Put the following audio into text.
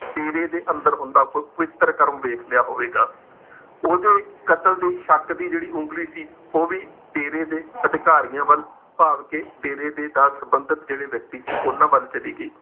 ਡੇਰੇ ਦੇ ਅੰਦਰ ਹੁੰਦਾ ਕੋਈ ਪਵਿੱਤਰ ਕਰਮ ਵੇਖਲਿਆ ਹੋਵੇਗਾ। ਓਹਦੇ ਕਤਲ ਦੇ ਸ਼ੱਕ ਦੀ ਜਿਹੜੀ ਉੰਗਲੀ ਸੀ ਉਹ ਵੀ ਡੇਰੇ ਦੇ ਅਧਿਕਾਰੀਆਂ ਵੱਲ ਭਾਵ ਕਿ ਡੇਰੇ ਦੇ ਨਾਲ ਸੰਬੰਧਤ ਜਿਹੜੇ ਵਿਅਕਤੀ ਸੀ, ਉਨ੍ਹਾਂ ਵੱਲ ਚਲੀ ਗਈ।